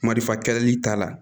Marifa kɛlɛli ta la